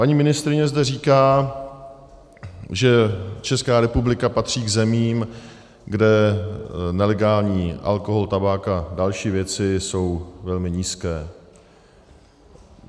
Paní ministryně zde říká, že Česká republika patří k zemím, kde nelegální alkohol, tabák a další věci jsou velmi nízké.